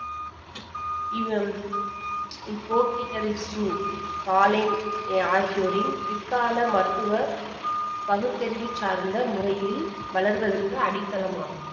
ஆகியோரின் பிற்கால மருத்துவ பகுத்தறிவு சார்ந்த முறையில் வளர்வதற்கு அடித்தளமாகும்